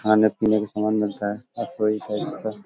खाने पीने का सामान मिलता है हर कोई खरीद सकता --.